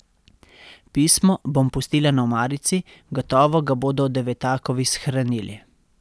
Pismo bom pustila na omarici, gotovo ga bodo Devetakovi shranili.